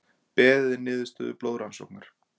Beðið er niðurstöðu blóðrannsóknar